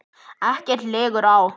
Ekkert liggur á.